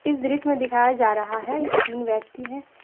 इस दृश्य में दिखाया जा रहा है तीन व्यक्ति है।